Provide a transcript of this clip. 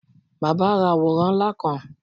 Bàbá ra àworán ńlá kan.